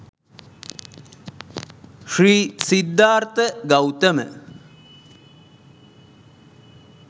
sri siddhartha gautama